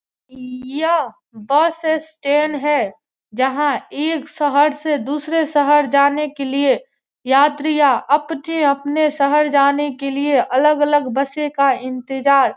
यह bus stand है जहाँ एक शहर से दूसरे शहर जाने के लिए यात्रियाँ अपने-अपने शहर जाने के लिए अलग-अलग बसों का इंतज़ार --